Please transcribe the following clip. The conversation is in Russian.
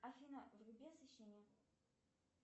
афина вруби освещение